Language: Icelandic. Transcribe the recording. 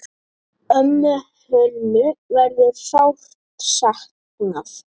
Ömmu Hönnu verður sárt saknað.